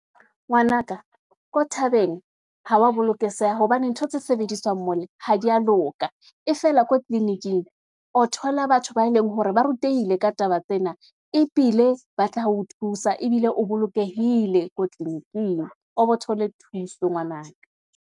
Ngwanaka ko thabeng, ha wa bolokeseha, hobane ntho tse sebediswang mole, ha di ya loka, e fela ko tliliniking, o thola batho ba leng hore ba rutehile ka taba tsena, ebile ba tla ho thusa, ebile o bolokehile ko tliliniking, o bo thole thuso ngwanaka.